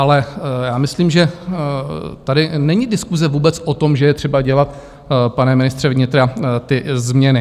Ale já myslím, že tady není diskuse vůbec o tom, že je třeba dělat, pane ministře vnitra, ty změny.